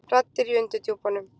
Raddir í undirdjúpunum.